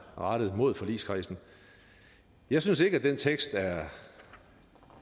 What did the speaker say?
rettet mod forligskredsen jeg synes ikke at den tekst er